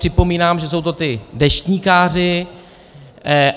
Připomínám, že jsou to ti deštníkáři.